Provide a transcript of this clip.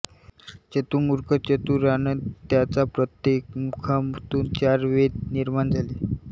चतुर्मुख चतुरानन त्याचा प्रत्येक मुखांतून चार वेद निर्माण झाले